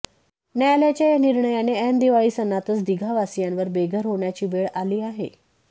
न्यायलयाच्या या निर्णयाने ऐन दिवाळी सणातच दिघा वासियांवर बेघर होण्याची वेळ आली आहे